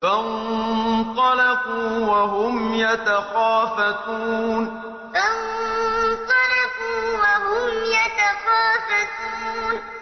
فَانطَلَقُوا وَهُمْ يَتَخَافَتُونَ فَانطَلَقُوا وَهُمْ يَتَخَافَتُونَ